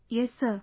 Yes Sir